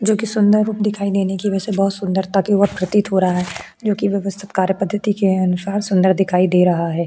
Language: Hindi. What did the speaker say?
जो कि सुंदर रूप दिखाई देने की वजह से बहुत सुंदरता के और प्रतीत हो रहा है जो कि व्यवस्थित कार्य पद्धति के अनुसार सुंदर दिखाई दे रहा है।